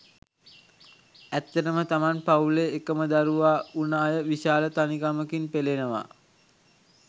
ඇත්තටම තමන් පවුලේ එකම දරුවා වුන අය විශාල තනිකමකින් පෙළෙනවා.